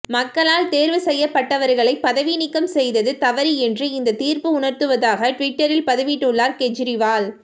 மக்களால் தேர்வு செய்யப்பட்டவர்களை பதவி நீக்கம் செய்தது தவறு என்று இந்த தீர்ப்பு உணர்த்துவதாக டுவிட்டரில் பதிவிட்டுள்ளார் கெஜ்ரிவால்